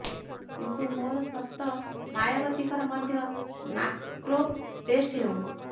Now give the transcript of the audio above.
କିନ୍ତୁ ମୋର ସର୍ତ୍ତ ମାୟାବତୀଙ୍କର ମଧ୍ୟ ନାର୍କୋ ଟେଷ୍ଟ ହେଉ